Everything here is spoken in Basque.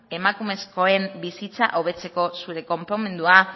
emakumezkoen bizitza hobetzeko zure konponmendua